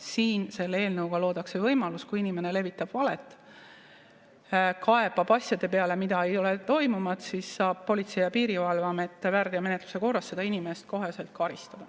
Siin, selle eelnõuga luuakse võimalus, et kui inimene levitab valet, kaebab asjade peale, mida ei ole toimunud, siis saab Politsei‑ ja Piirivalveamet väärteomenetluse korras seda inimest koheselt karistada.